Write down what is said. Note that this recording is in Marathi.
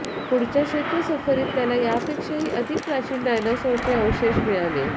पुढच्या क्षेत्र सफरीत त्याला याहीपेक्षा अधिक प्राचीन डायनोसॉरचे अवशेष मिळाले